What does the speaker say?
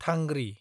थांग्रि